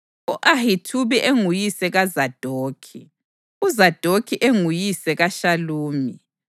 u-Ahithubi enguyise kaZadokhi, uZadokhi enguyise kaShalumi,